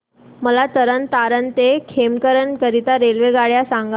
मला तरण तारण ते खेमकरन करीता रेल्वेगाड्या सांगा